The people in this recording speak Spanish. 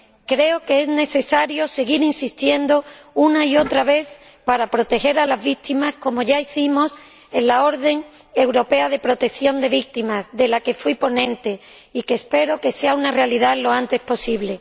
Creo que es necesario seguir insistiendo, una y otra vez, para proteger a las víctimas, como ya hicimos con la orden europea de protección de víctimas, de la que fui ponente, y que espero que sea una realidad lo antes posible.